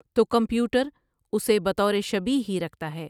تو کمپیوٹر اُسے بطورِ شبیہہ ہی رکھتا ہے۔